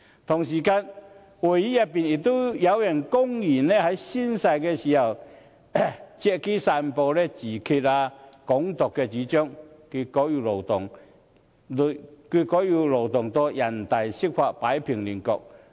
同時，議會內有人公然在宣誓時，借機散播自決和"港獨"的主張，結果要勞動人大釋法擺平亂局。